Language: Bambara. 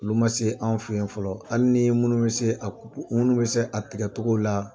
Olu man se an fɛ yen fɔlɔ hali ni minnu bɛ se a kupu minnu bɛ se a tigɛ cogo la.